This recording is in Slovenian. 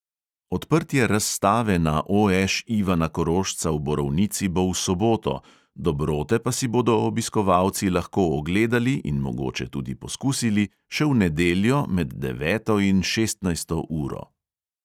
Odprtje razstave na OŠ ivana korošca v borovnici bo v soboto, dobrote pa si bodo obiskovalci lahko ogledali in mogoče tudi poskusili še v nedeljo med deveto in šestnajsto uro.